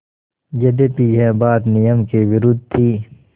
यद्यपि यह बात नियम के विरुद्ध थी